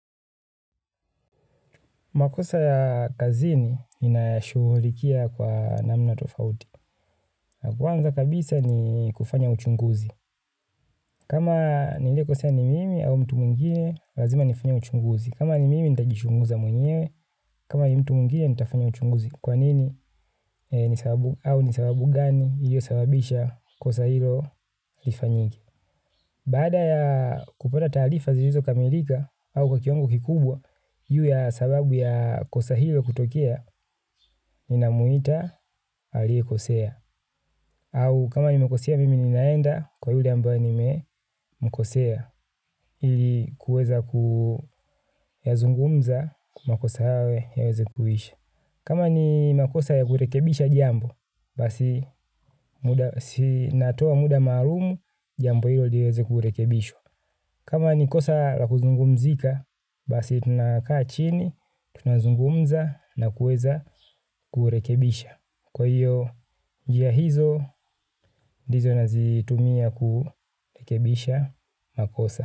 Makosa ya kazini ninayashughulikia kwa namna tofauti. Kwanza kabisa ni kufanya uchunguzi. Kama nilikosea ni mimi au mtu mwingine, lazima nifanye uchunguzi. Kama ni mimi nitajichunguza mwenyewe, kama ni mtu mwingine nitafanya uchunguzi. Kwa nini au ni sababu gani iliyosababisha kosa hilo lifanyike. Baada ya kupata taarifa zilizokamilika au kwa kiwango kikubwa, hiyo ya sababu ya kosa hilo kutokea, ninamwita aliyekosea. Au kama nimekosea mimi ninaenda kwa yule ambaye nimemkosea, ili kuweza kuyazungumza, makosa hayo yaweze kuisha. Kama ni makosa ya kurekebisha jambo, basi natoa muda maalumu, jambo hilo liweze kurekebishwa. Kama ni kosa la kuzungumzika, basi tunakaa chini, tunazungumza na kuweza kurekebisha. Kwa hiyo, njia hizo, ndizo nazitumia kurekebisha makosa.